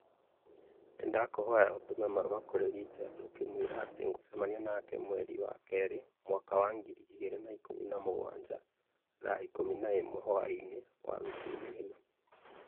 Nĩndakũhoya ũtũme marũa kũrĩ Richard ũkĩmwĩra atĩ nĩ ngũcemania nake mwerĩ wa kerĩ mwaka wa ngiri igĩrĩ na ikũmi na mũgwanja thaa ikũmi na ĩmwe hwaĩinĩ wabici-inĩ ĩno